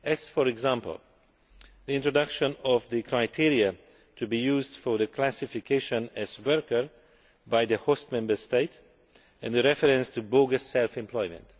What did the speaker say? For example the introduction of the criteria to be used for classification as a worker by the host Member State the reference to bogus self employment